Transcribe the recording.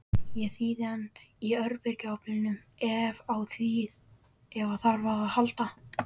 Ég þíði hana í örbylgjuofninum ef á þarf að halda.